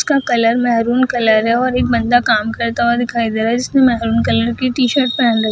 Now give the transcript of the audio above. उसका colour maroon colour है और एक बंदा काम करता हुआ दिखाई दे रहा है जिसने महरून कलर की टी-शर्ट पहन रख --